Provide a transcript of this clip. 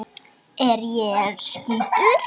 Er ég rauður?